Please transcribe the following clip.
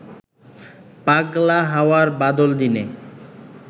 পাগলা হাওয়ার বাদল দিনে